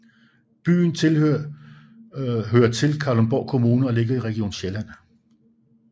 Byen hører til Kalundborg Kommune og ligger i Region Sjælland